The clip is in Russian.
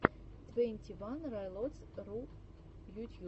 твенти ван райлотс ру ютьюб